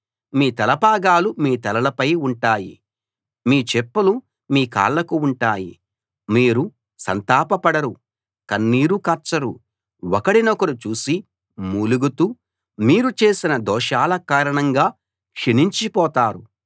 మీ తలపాగాలు మీ తలలపై ఉంటాయి మీ చెప్పులు మీ కాళ్ళకు ఉంటాయి మీరు సంతాపపడరు కన్నీరు కార్చరు ఒకడినొకరు చూసి మూలుగుతూ మీరు చేసిన దోషాల కారణంగా క్షీణించిపోతారు